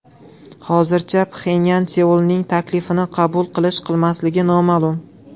Hozircha Pxenyan Seulning taklifini qabul qilish-qilmasligi noma’lum.